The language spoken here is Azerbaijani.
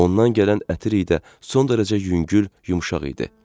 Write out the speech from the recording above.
Ondan gələn ətir idi də son dərəcə yüngül, yumşaq idi.